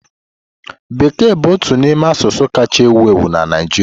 Bekee bụ otu n'ime asụsụ kacha ewu ewu na Naịjirịa.